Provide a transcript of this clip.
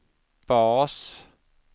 bas